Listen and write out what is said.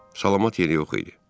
Salamat yeri yox idi.